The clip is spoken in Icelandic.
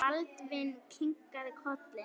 Baldvin kinkaði kolli.